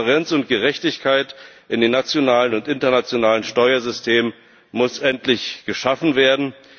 Transparenz und Gerechtigkeit in den nationalen und internationalen Steuersystemen muss endlich geschaffen werden!